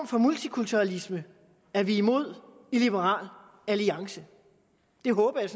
for multikulturalisme er vi imod i liberal alliance det håber jeg